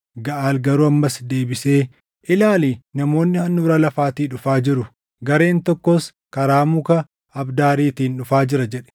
Gaʼaal garuu ammas deebisee, “Ilaali; namoonni handhuura lafaatii dhufaa jiru; gareen tokkos karaa muka abdaariitiin dhufaa jira” jedhe.